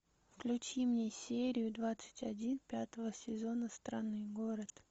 включи мне серию двадцать один пятого сезона странный город